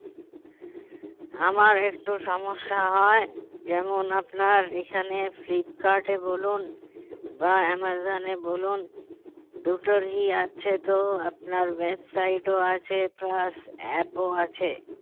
আমার একটু সমস্যা হয় যেমন আপনার এখানে ফ্লিপকার্টে বলুন বা অ্যামাজনে বলুন দুটোরই আছে তো website ও আছে plus app ও আছে